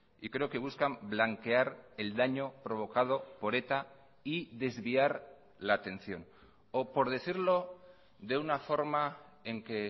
y creo que buscan blanquear el daño provocado por eta y desviar la atención o por decirlo de una forma en que